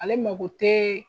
Ale mago tɛ